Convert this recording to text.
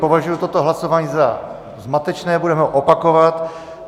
Považuji toto hlasování za zmatečné, budeme ho opakovat.